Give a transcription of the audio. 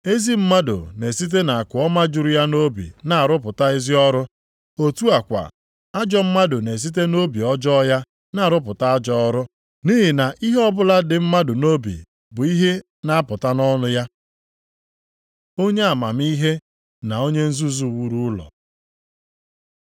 Ezi mmadụ na-esite nʼakụ ọma juru ya obi na-arụpụta ezi ọrụ, otu a kwa, ajọ mmadụ na-esite nʼobi ọjọọ ya na-arụpụta ajọ ọrụ. Nʼihi na ihe ọbụla dị mmadụ nʼobi bụ ihe na-apụta nʼọnụ ya. Onye amamihe na onye nzuzu wuru ụlọ